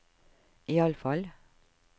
iallfall